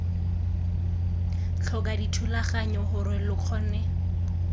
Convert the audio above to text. tlhoka dithulaganyo gore lo kgone